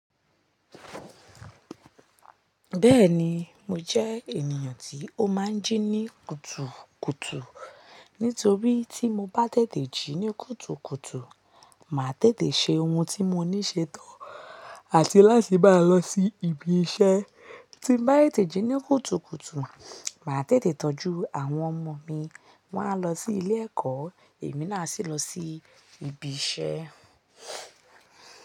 Bẹ́ẹ̀ni, mó jẹ́ ènìyàn tí ó máa ń jí ní kùtùkùtù. Nítorí tí mo bá tètè jí ní kùtùkùtù, màá tètè ṣe ohun tí mo ní ṣe tán. Àti láti bá lọ sí ibi iṣẹ́. Tí bá tètè jí ní kùtùkùtù, màá tètè tọ́jú àwọn ọmọ mi. Wá lọ sí ilé ẹ̀kọ́, èmi náà a sì lọ sí ibi iṣẹ́.